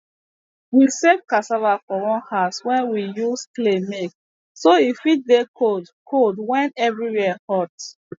we save cassava for one house wey we use clay make so e fit dey cold cold wen everywere hot